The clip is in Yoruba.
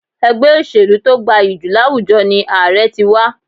Ègbé òṣèlú to gbayì jù láwùjọ ni Ààrẹ ti wa